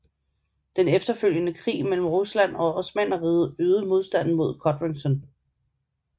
Den efterfølgende krig mellem Rusland og Osmannerriget øgede modstanden mod Codrington